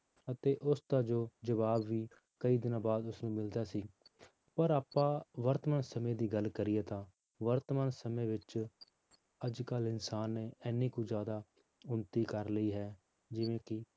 ਅਤੇ ਉਸ ਦਾ ਜੋ ਜਵਾਬ ਵੀ ਕਈ ਦਿਨਾਂ ਬਾਅਦ ਉਸਨੂੰ ਮਿਲਦਾ ਸੀ ਪਰ ਆਪਾਂ ਵਰਤਮਾਨ ਸਮੇਂ ਦੀ ਗੱਲ ਕਰੀਏ ਤਾਂ ਵਰਤਮਾਨ ਸਮੇਂ ਵਿੱਚ ਅੱਜ ਕੱਲ੍ਹ ਇਨਸਾਨ ਨੇ ਇੰਨੀ ਕੁ ਜ਼ਿਆਦਾ ਉਨਤੀ ਕਰ ਲਈ ਹੈ ਜਿਵੇਂ ਕਿ